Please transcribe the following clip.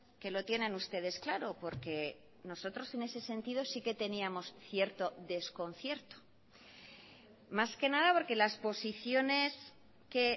que lo tienen ustedes claro porque nosotros en ese sentido sí que teníamos cierto desconcierto más que nada porque las posiciones que